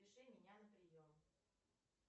запиши меня на прием